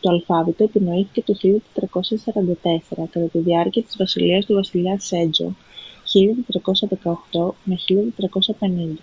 το αλφάβητο επινοήθηκε το 1444 κατά τη διάρκεια της βασιλείας του βασιλιά σέτζονγκ. 1418-1450